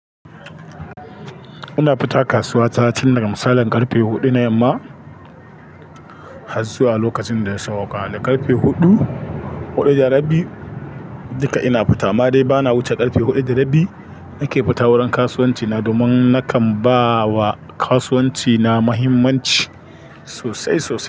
Ina fita kasuwa ta tun daga misalin karfe huɗu na yamma, hazzuwa lokacin da ya sauwaka. Karfe huɗu, huɗu da rabi duka ina fita. Amma dai bana wuce karfe huɗu da rabi nake fita wurin kasuwanci na domin nakan ba wa kasuwanci na muhimmanci sosai sosai.